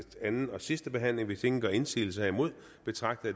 anden og sidste behandling hvis ingen gør indsigelse herimod betragter